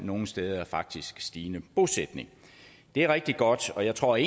nogle steder faktisk stigende bosætning det er rigtig godt og jeg tror